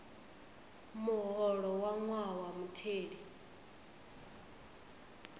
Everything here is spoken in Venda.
muholo wa ṅwaha wa mutheli